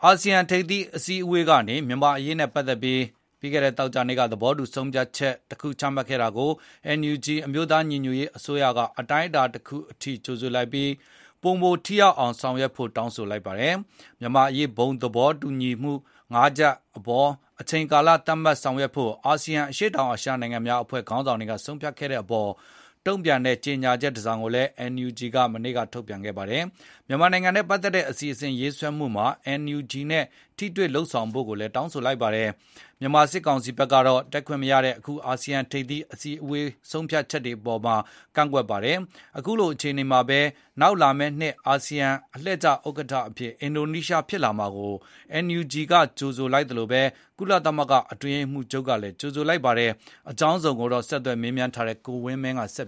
ာဆီယံထိပ်သီးအစည်းအဝေးကနေ မြန်မာ့အရေးနဲ့ပတ်သက်ပြီး ပြီးခဲ့တဲ့သောကြာနေ့က သဘောတူဆုံးဖြတ်ချက် ချမှတ်ခဲ့တာကို NUG အမျိုးသားညီညွတ်ရေးအစိုးရ NUG က အတိုင်းအတာတခုအထိကြိုဆိုလိုက်ပြီး၊ ပိုမိုထိရောက်အောင် ဆောင်ရွက်ဖို့ တောင်းဆိုလိုက်ပါတယ်။ မြန်မာ့အရေး ဘုံသဘောတူမှု ၅ ချက်အပေါ် အချိန်ကာလသတ်မှတ်ဆောင်ရွက်ဖို့ အာဆီယံ အရှေ့တောင်အာရှနိုင်ငံများအဖွဲ့ ခေါင်းဆောင်တွေ ဆုံးဖြတ်ခဲ့တဲ့အပေါ်၊ တုန့်ပြန်တဲ့ကြေညာချက်တစောင်ကို NUG က မနေ့ကထုတ်ပြန်ခဲ့ပါတယ်။ မြန်မာနိုင်ငံနဲ့ ပတ်သက်တဲ့ အစီအစဉ်ရေးဆွဲမှုမှာ NUG နဲ့ ထိတွေ့လုပ်ဆောင်ဖို့ ကိုလည်းတောင်းဆိုလိုက်ပါတယ်။ မြန်မာ စစ်ကောင်စီဘက်ကတော့ တက်ခွင့်မရတဲ့ အခုအာဆီယံထိပ်သီးအစည်းဝေး ဆုံးဖြတ်ချက်အပေါ် ကန့်ကွက်လိုက်ပါ တယ်။ အခုလိုအခြေအနေမှာဘဲ နောက်လာမယ့်နှစ် အာဆီယံအလှည့်ကျဥက္ကဌ အဖြစ်အင်ဒိုနီးရှား ဖြစ်လာမှာကို NUG ကကြိုဆိုလိုက်သလို၊ ကုလသမဂ္ဂအတွင်းရေးမှုးချုပ်ကလည်း ကြိုဆိုလိုက်ပါတယ်။ အကြောင်းစုံကိုတော့ ဆက်သွယ်မေးမြန်းထားတဲ့ ကိုဝင်းမင်းကဆက်